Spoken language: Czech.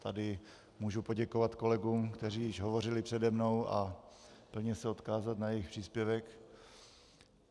Tady můžu poděkovat kolegům, kteří již hovořili přede mnou, a plně se odkázat na jejich příspěvek.